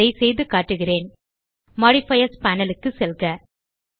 அதை செய்துகாட்டுகிறேன் modifiers panel க்கு செல்க